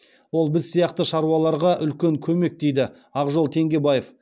ол біз сияқты шаруаларға үлкен көмек дейді ақжол теңгебаев